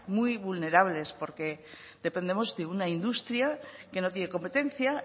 muy vulnerables porque dependemos de una industria que no tiene competencia